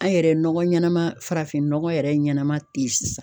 An yɛrɛ ye nɔgɔ ɲɛnama farafin nɔgɔ yɛrɛ ɲɛnɛma te yen sisan.